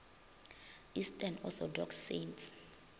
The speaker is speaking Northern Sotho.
eastern orthodox saints